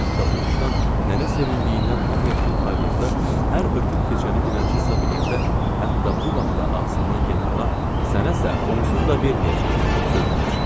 Hətta uduşdan nənə sevindiyindən hamıya pul paylayanda, hər ötüb keçəni dilənçi hesab eləyəndə hətta bu vaxtı ağzından generala sənəysə onsuz da verməyəcəm qışqırıb deyirdi.